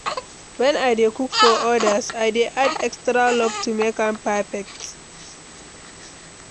When I dey cook for others, I dey add extra love to make am perfect.